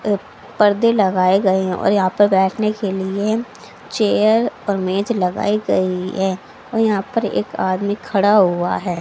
अह पर्दे लगाए गए हैं और यहां पर बैठने के लिए चेयर और मेज लगाए गई है और यहां पर एक आदमी खड़ा हुआ है।